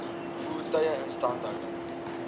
voertuie instandhouding